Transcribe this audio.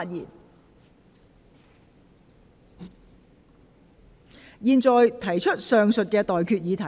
我現在向各位提出上述待決議題。